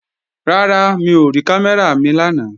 Rárá, mi ò rí kámẹ́rà mi lánàá